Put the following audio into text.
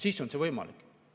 Siis on see võimalik.